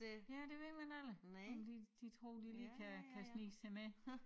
Ja det ved man aldrig om de de tror de lige kan kan snige sig med